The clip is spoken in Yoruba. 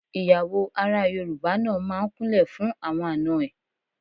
Ìyàwó ará Yorùbá náà máa ń kúnlẹ̀ fún àwọn àna ẹ̀.